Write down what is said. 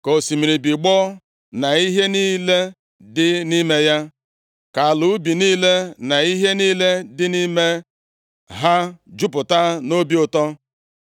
Ka osimiri bigbọọ, na ihe niile dị nʼime ya, ka ala ubi niile na ihe niile dị nʼime ha jupụta nʼobi ụtọ.